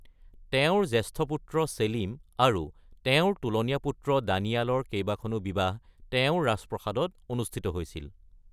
তেওঁৰ জ্যেষ্ঠ পুত্ৰ ছেলিম আৰু তেওঁৰ তোলনীয়া পুত্ৰ দানিয়ালৰ কেইবাখনো বিবাহ তেওঁৰ ৰাজপ্ৰসাদত অনুষ্ঠিত হৈছিল।